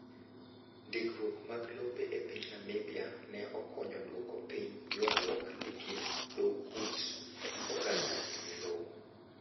Ndikruok mag lope e piny Namibia ne okonyo duoko piny ywarruok e kind dho ut oganda ewi lowo.